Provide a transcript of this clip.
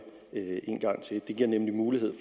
en gang til det giver nemlig mulighed